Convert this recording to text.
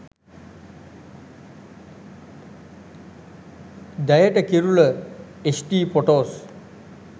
deyata kirula hd photos